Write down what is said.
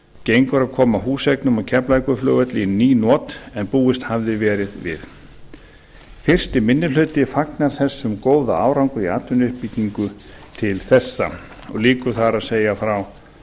gengur að koma húseignum á keflavíkurflugvelli í ný not en búist hafði verið við fyrstu minni hluti fagnar þessum góða árangri í atvinnuuppbyggingu til þessa lýkur þar að segja frá